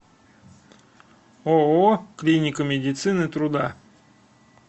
ооо клиника медицины труда